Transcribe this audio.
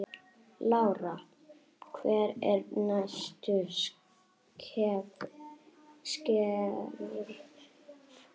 Lára: Hver eru næstu skerf?